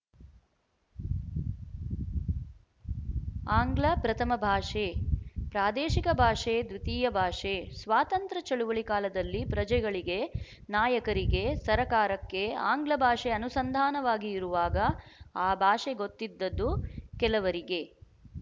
ಆಂಗ್ಲ ಪ್ರಥಮಭಾಷೆ ಪ್ರಾದೇಶಿಕ ಭಾಷೆ ದ್ವಿತೀಯ ಭಾಷೆ ಸ್ವಾತಂತ್ರ್ಯ ಚಳುವಳಿ ಕಾಲದಲ್ಲಿ ಪ್ರಜೆಗಳಿಗೆ ನಾಯಕರಿಗೆ ಸರಕಾರಕ್ಕೆ ಆಂಗ್ಲಭಾಷೆ ಅನುಸಂಧಾನವಾಗಿ ಇರುವಾಗ ಆ ಭಾಷೆ ಗೊತ್ತಿದ್ದದ್ದು ಕೆಲವರಿಗೆ